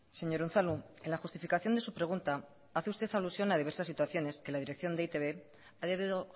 señor unzalu en la justificación de su pregunta hace usted alusión a diversas situaciones que la dirección de e i te be ha debido